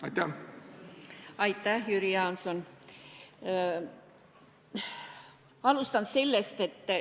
Aitäh, Jüri Jaanson!